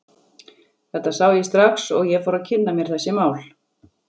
Þetta sá ég strax og ég fór að kynna mér þessi mál.